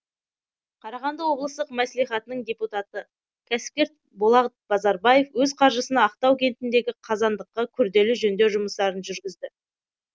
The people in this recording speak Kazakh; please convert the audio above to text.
қарағанды облыстық мәслихатының депутаты кәсіпкер болат базарбаев өз қаржысына ақтау кентіндегі қазандыққа күрделі жөндеу жұмыстарын жүргізді